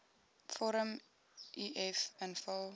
vorm uf invul